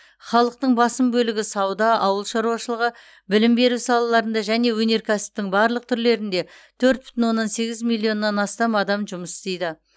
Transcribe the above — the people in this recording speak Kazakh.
халықтың басым бөлігі сауда ауыл шаруашылығы білім беру салаларында және өнеркәсіптің барлық түрлерінде төрт бүтін оннан сегіз милионнан астам адам жұмыс істейді